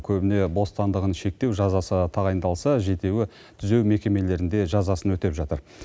көбіне бостандығын шектеу жазасы тағайындалса жетеуі түзеу мекемелерінде жазасын өтеп жатыр